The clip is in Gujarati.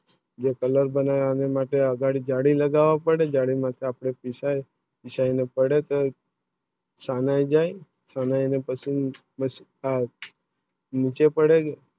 જે Colour માટે જાળી લગાવી પડે જાળી લગાવે માટે પીસાય પીસાવે પડે સનાયા જાયે પછી નીચે પડે